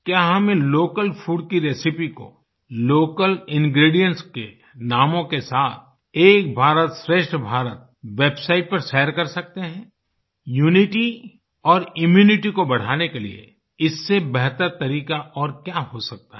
क्या हम इन लोकल फूड की रेसिपे को लोकल इंग्रीडिएंट्स के नामों के साथ एक भारतश्रेष्ठ भारत वेबसाइट पर शेयर कर सकते हैं यूनिटी और इम्यूनिटी को बढ़ाने के लिए इससे बेहतर तरीका और क्या हो सकता है